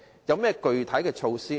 若然，具體措施為何？